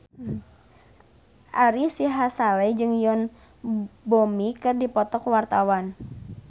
Ari Sihasale jeung Yoon Bomi keur dipoto ku wartawan